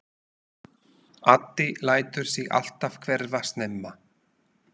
Addi lætur sig alltaf hverfa snemma.